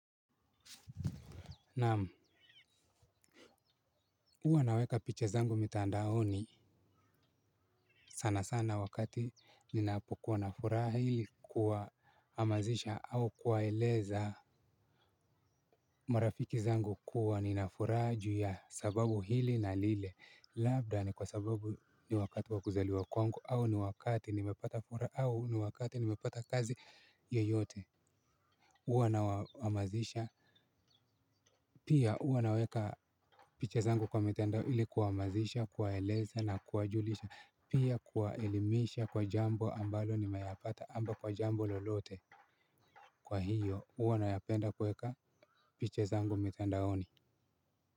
Naam huwa naweka picha zangu mitandaoni sana sana wakati ninapokuwa na furahi ili kuwa hamazisha au kuwaeleza marafiki zangu kuwa nina furaha juu ya sababu hili na lile. Labda ni kwa sababu ni wakati wa kuzaliwa kwangu au ni wakati nimepata furaha au ni wakati nimepata kazi yeyote. Huwa na wahamazisha. Pia huwa naweka picha zangu kwa mitandao ili kuwahamazisha, kuwaeleza na kuwajulisha. Pia kuwa elimisha kwa jambo ambalo nimeyapata ama kwa jambo lolote. Kwa hiyo huwa na yapenda kuweka picha zangu mitandaoni.